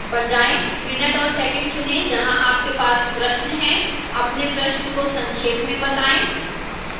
minute और second चुनें जहां आपके पास प्रश्न है अपने प्रश्न को संक्षेप में बताएं